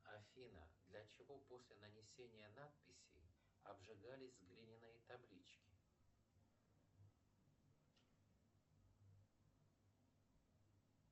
афина для чего после нанесения надписи обжигались глиняные таблички